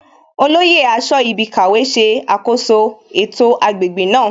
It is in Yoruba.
Olóyè aṣọ́ibikàwé ṣe àkoso ètò agbègbè náà